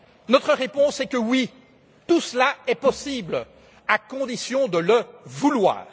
Notre réponse est que oui, tout cela est possible, à condition de le vouloir.